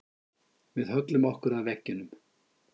Við höllum okkur að veggjunum.